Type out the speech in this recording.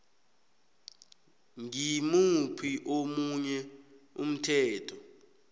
ngimuphi omunye umthetho